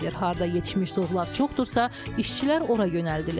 Harda yetişmiş zoğlar çoxdursa, işçilər ora yönəldilir.